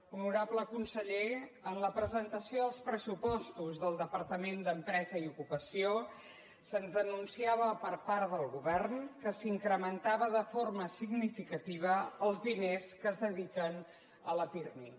honorable conseller en la presentació dels pressupostos del departament d’empresa i ocupació se’ns anunciava per part del govern que s’incrementaven de forma significativa els diners que es dediquen al pirmi